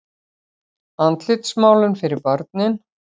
Andlitsmálun fyrir börnin.